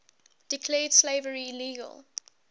declared slavery illegal